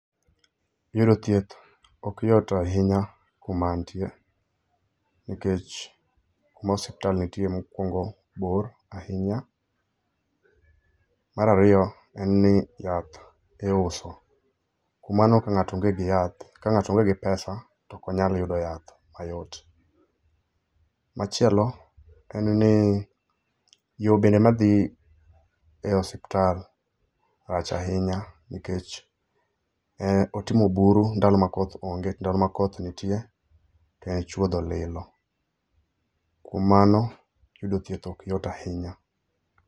Yudo thieth ok yot ahinya kuma antie, nikech kuma osiptal ntie mokwongo bor ahinya. Mar ariyo en ni yath iuso, kuom mano ka ng'ato onge gi yath ka ngato onge gi pesa ok onyal yudo yath mayot. Machielo en ni yoo bende madhi e osiptal rach ahinya nikech e otimo buru ndalo ma koth onge to ndalo ma koth nitie to en chuodho lilo. Kuom mano yudo thieth ok yot ahinya.